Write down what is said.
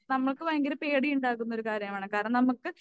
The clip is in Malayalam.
നമുക്ക് ഭയങ്കര പേടിയുണ്ടാകുന്നൊരു കാര്യമാണ് കാരണം നമുക്ക്